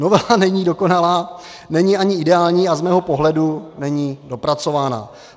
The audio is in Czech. Novela není dokonalá, není ani ideální a z mého pohledu není dopracovaná.